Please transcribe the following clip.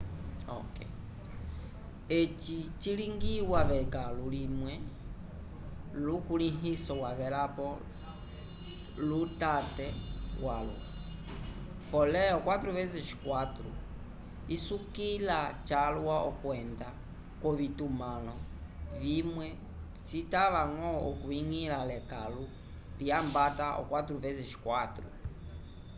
eci cilingiwa v’ekãlu limwe lukulĩhiso wavelapo lutate walwa pole o 4x4 isukiliwa calwa kwenda k’ovitumãlo vimwe citava-ñgo okwiñgila lekãlu lyambata o 4x4